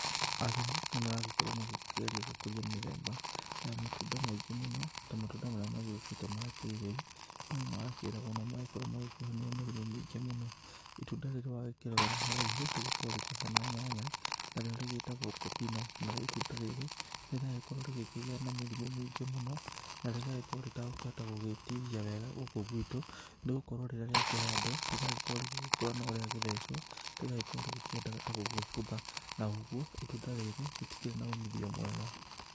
Arĩmi nĩ maragĩkoragwo magĩkĩgeria gũkũria mĩthemba ya matunda maingĩ mũno ta matunda marĩa magĩũkĩte ma kĩrĩu marĩa makĩragwo nĩ makoragwo magĩkĩhonia mĩrimũ mĩingĩ mũno, itunda riri wa rĩrorera haraihu rĩgĩkoragwo rĩkĩhana nyanya na rĩo rĩgĩtagwo popino nario itunda rĩrĩ rĩrakorwo rĩkĩgia na mĩrimũ mĩingĩ mũno na rĩgakorwo rĩtagũkĩhota gũgĩtihia wega gũkũ gwitũ nĩ gũkorwo rĩrĩa rĩakĩhandwo rĩragĩkorwo rĩgĩgĩkũra no rĩa gĩthecwo rĩgakorwo rĩgĩkĩenda ta gũgĩbutha na ũgũo itunda rĩrĩ rĩtikĩrĩ na ũmithio mwega.